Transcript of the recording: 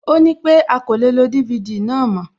Ó nípé a kò lè lo DVD náà mòó